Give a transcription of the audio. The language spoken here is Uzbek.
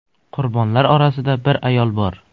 Qurbonlar orasida bir ayol bor.